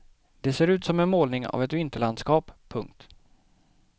Det ser ut som en målning av ett vinterlandskap. punkt